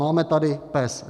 Máme tady PES.